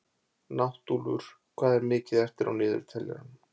Náttúlfur, hvað er mikið eftir af niðurteljaranum?